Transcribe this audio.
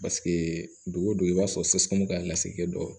don o don i b'a sɔrɔ ka lasekɛ dɔ